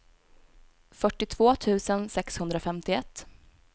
fyrtiotvå tusen sexhundrafemtioett